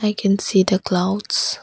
I can see the clouds.